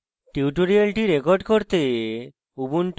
tutorial record করতে